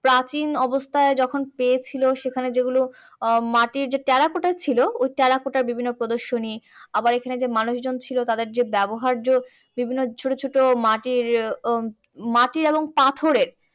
প্রাচীন অবস্থায় যখন পেয়েছিলো সেখানে যেগুলো উম মাটির যে টেরাকোটা ছিল ওই টেরাকোটার বিভিন্ন প্রদর্শনী আবার ওইখানে যে মানুষ জন ছিল তাদের যে ব্যবহার্য বিভিন্ন ছোটো ছোটো মাটির উম মাটির এবং পাথরের